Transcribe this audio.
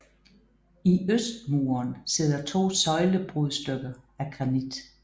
I øst muren sidder to søjlebrudstykker af granit